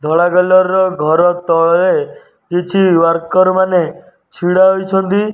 ଧଳା କଲରର ଘର ତଳେ କିଛି ୱାରକର୍ ମାନେ ଛିଡା ହୋଇଛନ୍ତି।